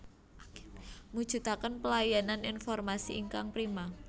Mujudaken pelayanan informasi ingkang prima